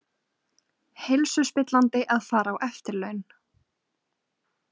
Heilsuspillandi að fara á eftirlaun